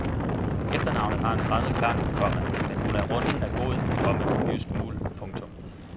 Efternavnet har en fremmed klang, komma men hun er runden af god, komma jysk muld. punktum